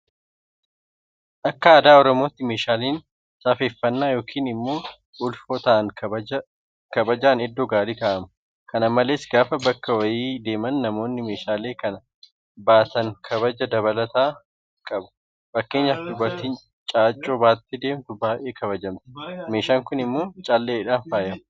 Akka aadaa Oromootti meeshaaleen safeeffannaa yookiin immoo ulfoo ta'an kabajaan iddoo gaarii kaa'amu. Kana malees gaafa bakka wayii deeman namoonni meeshaalee sana baatan kabaja dabalataan qabu. Fakkeenyaaf dubartiin Caaccuu baattee deemtu baay'ee kabajamti. Meeshaan kun immoo Calleedhaan faayama.